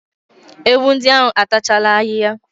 Ewu ndi ahu a tachala ahihia